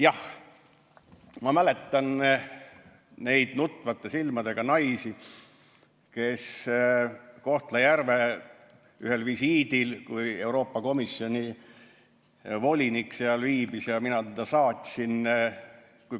Jah, ma mäletan neid nutvate silmadega naisi Kohtla-Järvel, kui Euroopa Komisjoni volinik visiidi käigus seal viibis ja mina teda saatsin.